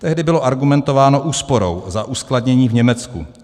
Tehdy bylo argumentováno úsporou za uskladnění v Německu.